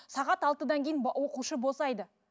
сағат алтыдан кейін оқушы босайды